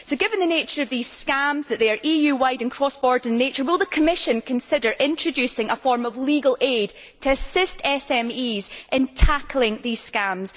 So, given the nature of these scams and their EU wide and cross border nature, will the Commission consider introducing a form of legal aid to assist SMEs in tackling these scams?